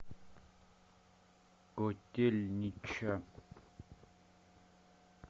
котельнича